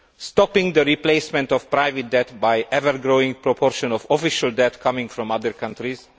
stop the replacement of private debt by an ever growing proportion of official debt coming from other countries